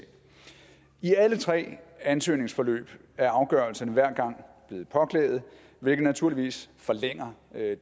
i alle tre ansøgningsforløb er afgørelserne hver gang blevet påklaget hvilket naturligvis forlænger